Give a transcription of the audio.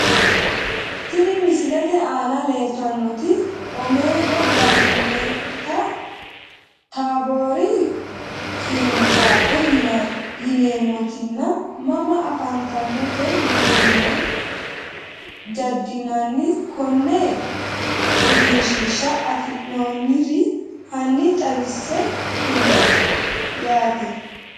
Tini misilete aana leltanotino omeega garmente taabori qirincaafe yineemotino mama afantanote yitine jedinani kone egenshshiisha afinooniri hani xawisse kulle yate?